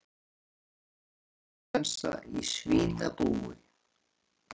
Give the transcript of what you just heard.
Svínaflensa í svínabúi